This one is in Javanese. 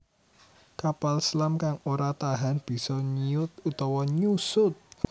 Kapal selam kang ora tahan bisa nyiut utawa nyusut